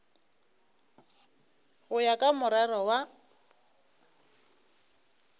go ya ka morero wa